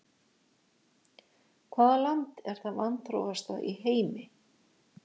Hvaða land er það vanþróaðasta í heimi?